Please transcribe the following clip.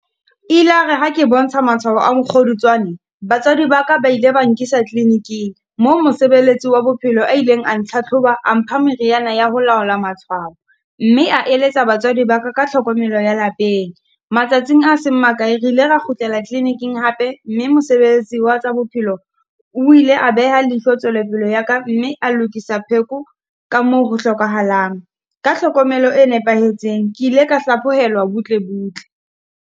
E ile ya re ha ke bontsha matshwao a mokgodutswane, batswadi ba ka ba ile ba nkisa kliniking, moo mosebeletsi wa bophelo a ileng a ntlhatlhoba, a mpha meriana ya ho laola matswalo. Mme a eletsa batswadi ba ka ka tlhokomelo ya lapeng. Matsatsing a seng makae, re ile ra kgutlela kliniking hape, mme mosebetsi wa tsa bophelo o ile a beha leihlo tswelopele ya ka mme a lokisa pheko ka moo re hlokahalang, ka hlokomelo e nepahetseng. Ke ile ka hlaphohelwa butle butle.